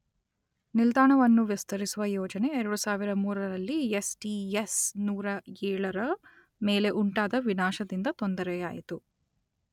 ನಿಲ್ದಾಣವನ್ನು ವಿಸ್ತರಿಸುವ ಯೋಜನೆಗೆ ಎರಡು ಸಾವಿರದ ಮೂರರಲ್ಲಿ ಯೆಸ್_letter ಟಿ_letter ಯೆಸ್_letter ನೂರಏಳರ ಮೇಲೆ ಉಂಟಾದ ವಿನಾಶದಿಂದ ತೊಂದರೆಯಾಯಿತು.